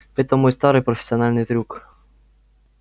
это мой старый профессиональный трюк